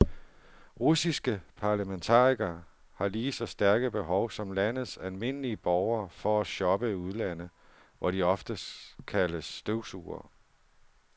Russiske parlamentarikere har lige så stærke behov som landets almindelige borgere for at shoppe i udlandet, hvor de ofte kaldes støvsugere.